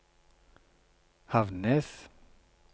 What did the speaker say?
Havnnes